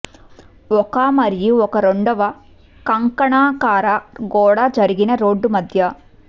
ఒక మరియు ఒక రెండవ కంకణాకార గోడ జరిగిన రోడ్డు మధ్య